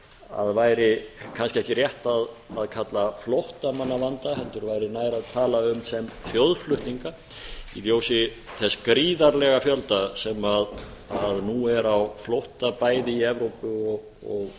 að væri kannski ekki rétt að kalla flóttamannavanda heldur væri nær að tala um sem þjóðflutninga í ljósi þess gríðarlega fjölda sem nú er á flótta bæði í evrópu og